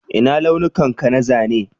Ina launukan ka na zanen?